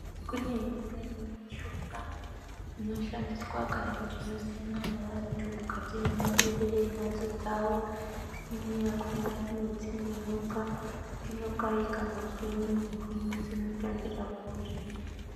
Kune imwe mishonga inoshandiswa kana kuti kusimwa ngeantu mukati memaberera emhatso dzawo imweni yakona inodzinge nyoka ikangozwe munhuwi inotambira kure.